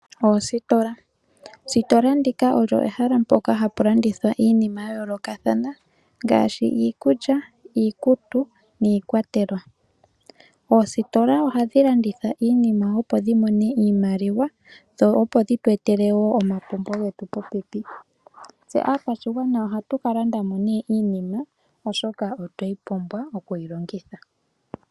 Oositola, oositola ndika olyo ehala mpoka hapu landithwa iinima ya yoolokathana ngaashi iikulya, iikutu niikwatelwa. Oositola ohadhi landitha iinima opo dhi mone iimaliwa dho opo dhitu etele wo oompumbwe dhetu popepi. Tse aakwashigwana ohatu ka landa mo nee iinima oshoka otweyi pumbwa okuyi longitha.